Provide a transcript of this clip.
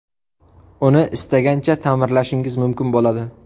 Uni istagancha ta’mirlashingiz mumkin bo‘ladi.